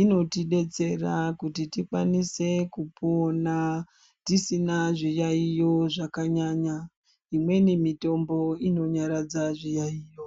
inotidetsera kuti tikwanise kupona tisina zviyayiyo zvakanyanya imweni mitombo inonyaradza zviyayiyo.